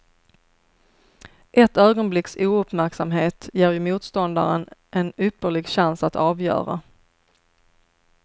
Ett ögonblicks ouppmärksamhet ger ju motståndaren en ypperlig chans att avgöra.